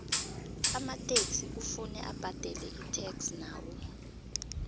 amataxi kuvuze abadele itax nawo